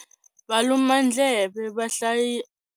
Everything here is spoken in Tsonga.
Valumandleve i vahlayisi.